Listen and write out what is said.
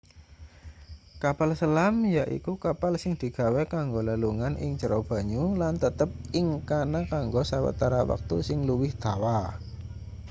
kapal selam yaiku kapal sing digawe kanggo lelungan ing jero banyu lan tetep ing kana kanggo sawetara wektu sing luwih dawa